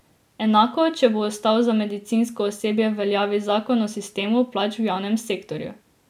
Enako, če bo ostal za medicinsko osebje v veljavi zakon o sistemu plač v javnem sektorju.